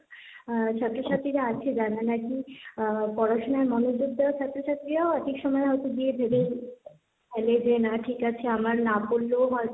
অ্যা ছাত্র ছাত্রীরা আছে যারা নাকি পড়াশোনায় মনোযোগ দেওয়া ছাত্র ছাত্রীরাও হয়তো এক একসময় হয়তো দিয়ে দেবে ভাবে যে না ঠিক আছে আমার না পড়লেও হয়তো,